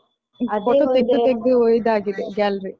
Photo ತೆಗ್ದು ತೆಗ್ದು ಇದಾಗಿದೆ gallery .